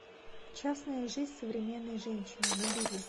частная жизнь современной женщины набери